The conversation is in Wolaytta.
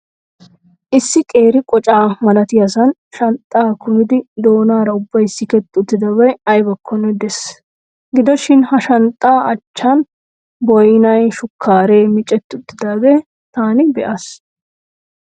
Issi qeeri qoca malatiyaasan shanxxaa kumidi doonaara ubbay siketti uttidabay aybbakkonne de'ees. Gidoshiin ha shanxxaa achchaan boynay, shukkaaree miccetti uttidaagaa taani be'aas.